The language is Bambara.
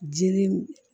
Jiri